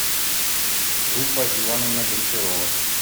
руфа ивановна гончарова